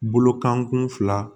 Bolokankun fila